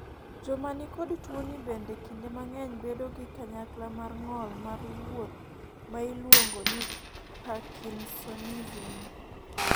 joma ni kod tuoni bende kinde mang'eny bedo gi kanyakla mar ng'ol mar wuoth ma iluongo ni parkinsonism